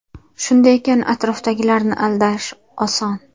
Shunday ekan atrofdagilarni aldash oson.